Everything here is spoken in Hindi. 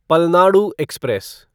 पलनाडु एक्सप्रेस